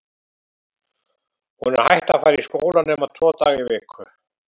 Hún er hætt að fara í skólann nema tvo daga í viku.